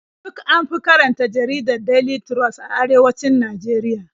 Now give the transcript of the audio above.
Duk an fi karanta jaridar Daily Trust a arewacin Najeriya.